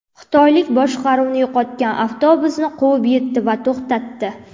Xitoylik boshqaruvni yo‘qotgan avtobusni quvib yetdi va to‘xtatdi.